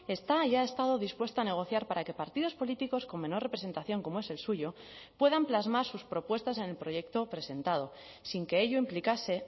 está ya ha estado dispuesto a negociar para que partidos políticos con menor representación como es el suyo puedan plasmar sus propuestas en el proyecto presentado sin que ello implicase